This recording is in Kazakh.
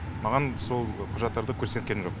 маған сол құжаттарды көрсеткен жоқ